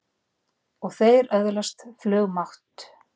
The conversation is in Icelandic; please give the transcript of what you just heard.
Og þeir öðlast flugmátt!